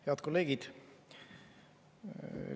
Head kolleegid!